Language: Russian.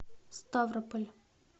ставрополь